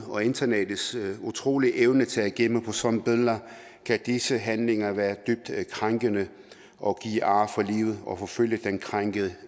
og internettets utrolige evne til at gemme på sådanne billeder kan disse handlinger være dybt krænkende og give ar for livet og forfølge den krænkede